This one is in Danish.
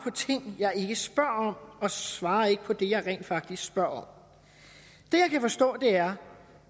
ting jeg ikke spørger om og svarer ikke på det jeg rent faktisk spørger om det jeg kan forstå er